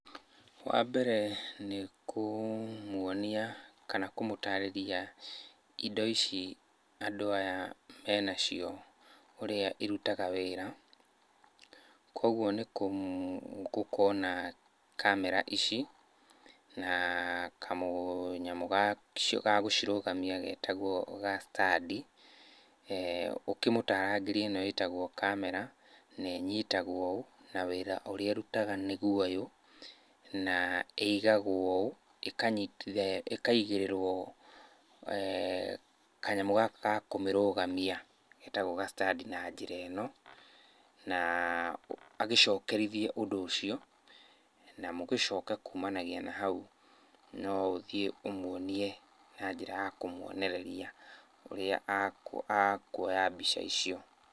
Wambere nĩ kũmuonia kana kũmũtarĩria indo ici andũ aya menacio ũrĩa irutaga wĩra. Kuoguo nĩ gũkorwo na kamera ici na kamũnyamũ gagũcirũgamia getagwo ga stand i, ũkĩmũtaarangĩrie ĩno ĩtagwo kamera na ĩnyitagwo ũũ na wĩra ũrĩa ĩrutaga nĩguo ũyũ, na ĩigagwo ũũ ĩkanyitithanio ĩkaigĩrĩrwo kanyamũ gaka ga kũmĩrũgamia getagwo ga stand i na njĩra ĩno, naa agĩcokerithie ũndũ ũcio na mũgĩcoke kumanagia na hau no ũthiĩ ũmuonie na njĩra ya kũmuonereria ũrĩa akuoya mbica icio.